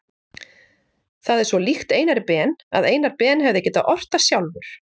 Það er svo líkt Einari Ben að Einar Ben hefði getað ort það sjálfur.